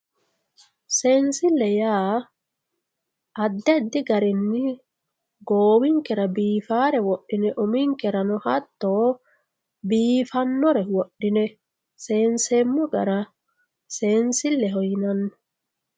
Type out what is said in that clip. Seensile yaa addi addi garinni goowinkera biifare wodhine uminkera hatto biifanore wodhine seenseemmo gara seensileho yinanni.